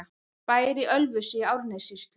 Bær í Ölfusi í Árnessýslu.